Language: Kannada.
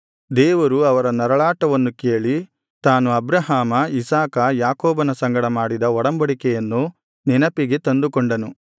ದೇವರು ಅವರ ನರಳಾಟವನ್ನು ಕೇಳಿ ತಾನು ಅಬ್ರಹಾಮ ಇಸಾಕ ಯಾಕೋಬನ ಸಂಗಡ ಮಾಡಿದ ಒಡಂಬಡಿಕೆಯನ್ನು ನೆನಪಿಗೆ ತಂದುಕೊಂಡನು